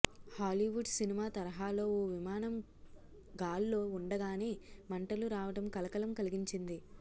Hollywood సినిమా తరహాలో ఓ విమానం గాల్లో ఉండగానే మంటలు రావడం కలకలం కలిగించింది